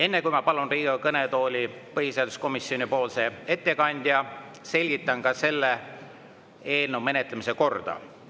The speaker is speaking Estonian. Enne, kui ma palun Riigikogu kõnetooli põhiseaduskomisjoni ettekandja, selgitan selle eelnõu menetlemise korda.